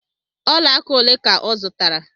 Olaaka ole ka ọ zụtara?